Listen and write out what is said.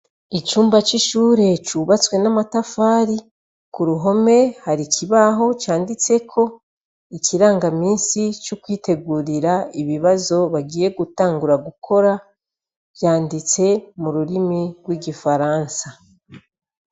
Icumba cishure cubatswe namatafari kuruhome hari ikibaho canditseko ikirangaminsi cokwitegurira ibibazo bagiye gutangura gukora vyanditse mururimi rwigifaransa